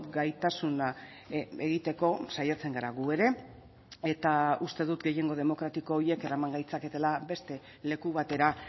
gaitasuna egiteko saiatzen gara gu ere eta uste dut gehiengo demokratiko horiek eraman gaitzaketela beste leku batera